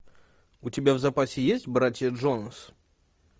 у тебя в запасе есть братья джонас